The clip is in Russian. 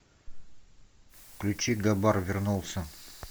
включи габар вернулся